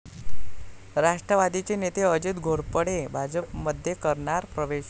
राष्ट्रवादीचे नेते अजित घोरपडे भाजपमध्ये करणार प्रवेश